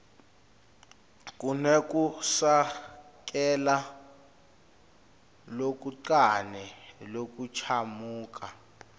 kunekusekela lokuncane lokuchamuka